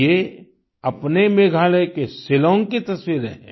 ये अपने मेघालय के शिलाँग की तस्वीरें हैं